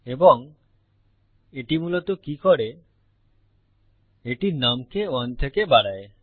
এবং এটি মূলত কি করে এটি নুম কে 1 থেকে বাড়ায়